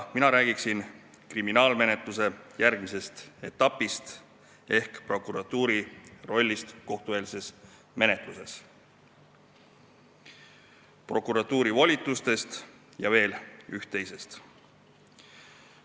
Mina räägin kriminaalmenetluse järgmisest etapist ehk prokuratuuri rollist kohtueelses menetluses, prokuratuuri volitustest ning veel ühest ja teisest.